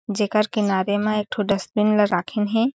जेकर किनारे मा एक ठो डस्टबिन ला राखिन हे।